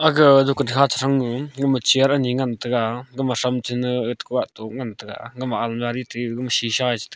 aga jekun kha che thrang ni gama chair ngan taiga gama thram chena etoh koh atoh ngan tega gama almaari te shisha e chete--